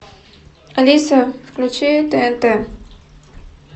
алиса включи тнт